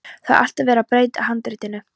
Það er alltaf verið að breyta handritinu.